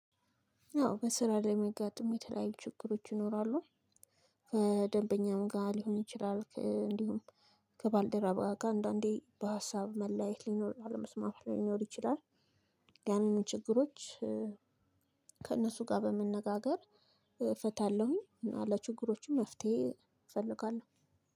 አዎ በስራ ላይ የሚያጋጥሙ የተለያዩ ችግሮች ይኖራሉ። ከደንበኛም ጋር ሊሆን ይችላል። እንዲሁም ከባልደረባ ጋር አንዳንዴ በሀሳብ መለያየት ሊኖር አለመስማማት ሊኖር ይችላል። ያንን ችግሮች ከእነሱ ጋር በመነጋገር እፈታለሁኝ። ለችግሮችም መፍትሄ እፈልጋለሁ።